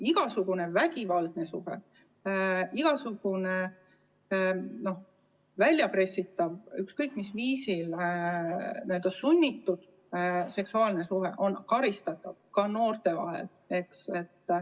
Igasugune vägivaldne suhe, igasugune väljapressitav, ükskõik mis viisil peale sunnitud seksuaalne suhe on karistatav, ka noorte vahel.